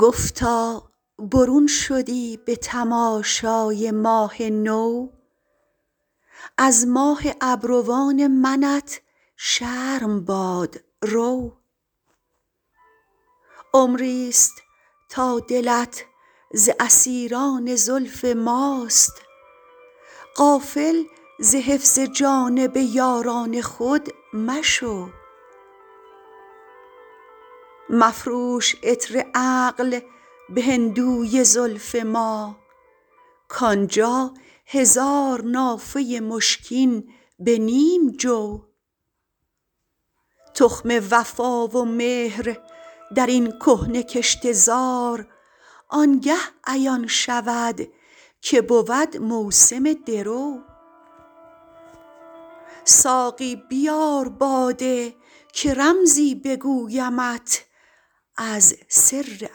گفتا برون شدی به تماشای ماه نو از ماه ابروان منت شرم باد رو عمری ست تا دلت ز اسیران زلف ماست غافل ز حفظ جانب یاران خود مشو مفروش عطر عقل به هندوی زلف ما کان جا هزار نافه مشکین به نیم جو تخم وفا و مهر در این کهنه کشته زار آن گه عیان شود که بود موسم درو ساقی بیار باده که رمزی بگویمت از سر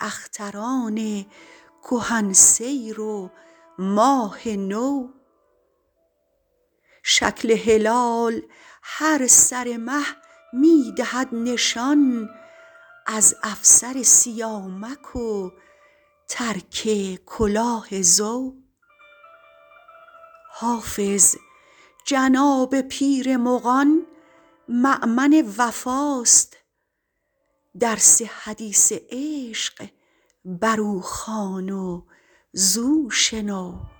اختران کهن سیر و ماه نو شکل هلال هر سر مه می دهد نشان از افسر سیامک و ترک کلاه زو حافظ جناب پیر مغان مأمن وفاست درس حدیث عشق بر او خوان و زو شنو